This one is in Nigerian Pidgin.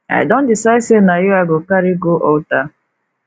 i don decide sey na you i go carry go altar